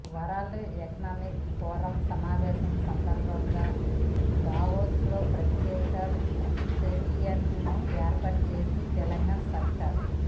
world economic forum సమావేశాల సందర్భంగా Davos లో ప్రత్యేక పెవిలియన్ ను ఏర్పాటు చేసింది తెలంగాణ సర్కార్